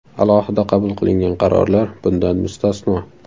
Alohida qabul qilingan qarorlar bundan mustasno.